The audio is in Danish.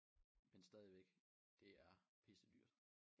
Men stadigvæk det er pissedyrt